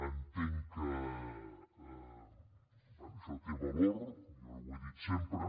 entenc que això té valor jo ho he dit sempre